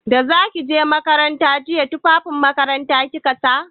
Da za ki je makaranta jiya tufafin makaranta kika sa?